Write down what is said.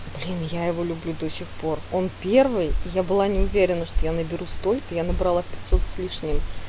блин я его люблю до сих пор он первый я была не уверена что я наберу столько я набрала пятьсот с лишним